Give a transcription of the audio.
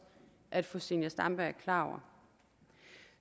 at fru zenia stampe er klar over